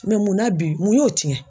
Mɛ mun na bi, mun y'o tiɲɛ ?